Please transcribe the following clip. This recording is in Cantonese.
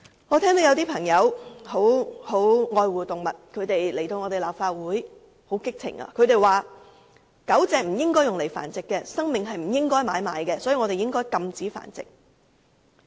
有些非常愛護動物的朋友曾在立法會激動地說，狗隻不應該被用來繁殖，生命不應該用來買賣，所以我們應該禁止繁殖。